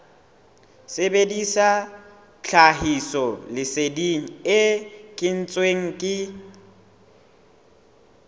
sebedisa tlhahisoleseding e kentsweng ke